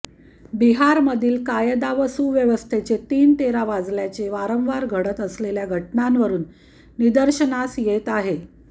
बिहारमधील कायदा व सुवस्थेचे तिनतेरा वाजल्याचे वारंवार घडत असलेल्या घटनांवरून निदर्शनास येत आहे